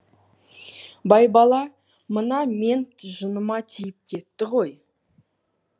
байбала мына мент жыныма тиіп кетті ғой